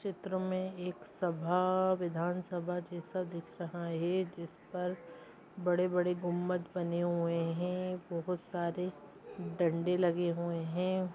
इस चित्र में एक सभा विधानसभा जैसा दिख रहा है जिस पर बड़े-बड़े गुंबद बने हुए हैं बहुत सारे डंडे लगे हुए हैं।